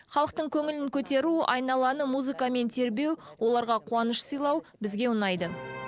халықтың көңілін көтеру айналаны музыкамен тербеу оларға қуаныш сыйлау бізге ұнайды